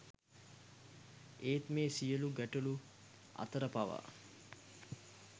ඒත් මේ සියලු ගැටලු අතර පවා